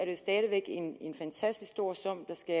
jo stadig væk en fantastisk stor sum der skal